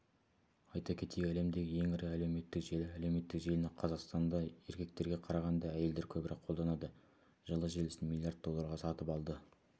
айта кетейік әлемдегі ең ірі әлеуметтік желі әлеуметтік желіні қазақстанда еркектерге қарағанда әйелдер көбірек қолданады жылы желісін миллиард долларға сатып алды